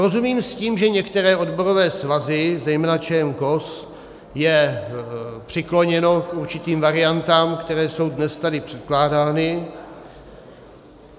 Rozumím s tím, že některé odborové svazy - zejména ČMKOS je přikloněno k určitým variantám, které jsou dnes tady předkládány.